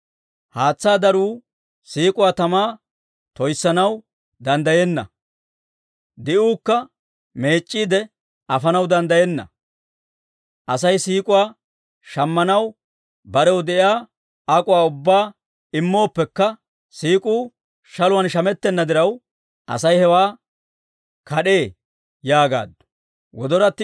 Haatsaa daruu siik'uwaa tamaa toyissanaw danddayenna; di'uukka meec'c'iide afanaw danddayenna. Asay siik'uwaa shammanaw barew de'iyaa ak'uwaa ubbaa immooppekka, siik'uu shaluwaan shamettenna diraw, asay hewaa kad'ee yaagaaddu.